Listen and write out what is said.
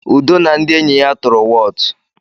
Udo na ndị enyi ya tụrụ wọọtụ.